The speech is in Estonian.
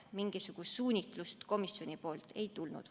Mingisugust suunitlust komisjonilt ei tulnud.